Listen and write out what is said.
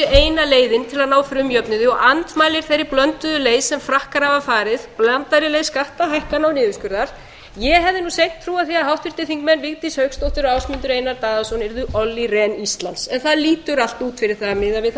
eina leiðin til að ná frumjöfnuði og andmælir þeirri blönduðu leið sem frakkar hafa farið blandaðri leið skattahækkana og niðurskurðar ég hefði nú seint trúað því að háttvirtir þingmenn vigdís hauksdóttir og ásmundur einar daðason yrðu olli rehn íslands en það lítur allt út fyrir það miðað við það